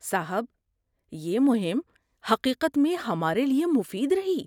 صاحب، یہ مہم حقیقت میں ہمارے لیے مفید رہی۔